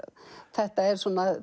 þetta er svona